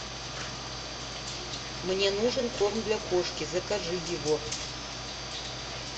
мне нужен корм для кошки закажи его